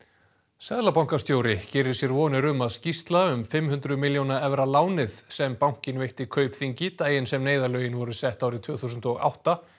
seðlabankastjóri gerir sér vonir um að skýrsla um fimm hundruð milljóna evra lánið sem bankinn veitti Kaupþingi daginn sem neyðarlögin voru sett árið tvö þúsund og átta